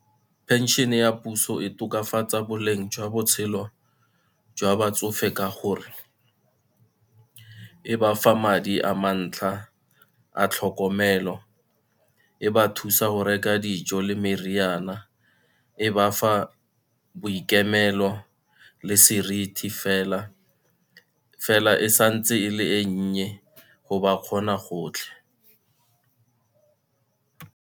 Pension ya puso e tokafatsa boleng jwa botshelo jwa batsofe ka gore e ba fa madi a mantlha a tlhokomelo, e ba thusa go reka dijo le meriana, e ba fa boikemelo le seriti fela, fela e santse e le e nnye go ba kgona gotlhe.